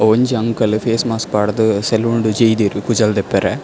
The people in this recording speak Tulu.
ಒಂಜಿ ಅಂಕಲ್ ಫೇಸ್ ಮಾಸ್ಕ್ ಪಾಡ್ದ್ ಸೆಲೂನ್ ಡ್ ಜೈದೆರ್ ಕೂಜಲ್ ದೆಪ್ಪರೆ.